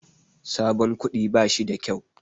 Sabon kuɗi bashi da kyau.